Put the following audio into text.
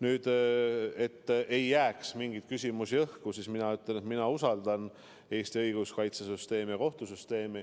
Selleks, et ei jääks mingeid küsimusi õhku, ütlen mina, et ma usaldan Eesti õiguskaitsesüsteemi ja kohtusüsteemi.